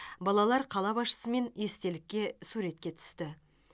балалар қала басшысымен естелікке суретке түсті